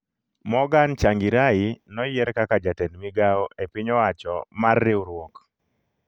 Morgan Tsvangirai noyier kaka Jatend migawo e piny wacho mar riwruok